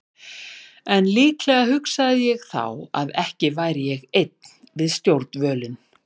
En líklega hugsaði ég þá að ekki væri ég einn við stjórnvölinn.